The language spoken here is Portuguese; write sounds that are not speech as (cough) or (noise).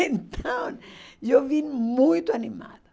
Então (laughs) eu vim muito animada.